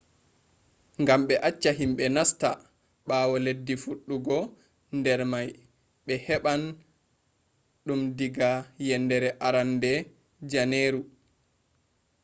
gam be acca himbe nasta bawo leddi fuddugo der may be heban dum daga yendere arande janeru